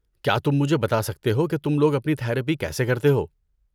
کیا تم مجھے بتا سکتے ہو کہ تم لوگ اپنی تھراپی کیسے کرتے ہیں؟